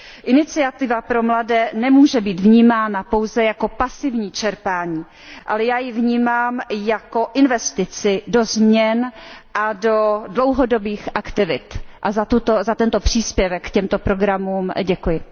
Iniciativa pro mladé nemůže být vnímána pouze jako pasivní čerpání, ale já ji vnímám jako investici do změn a do dlouhodobých aktivit a za tento příspěvek k těmto programům děkuji.